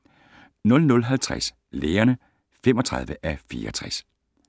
00:50: Lægerne (35:64)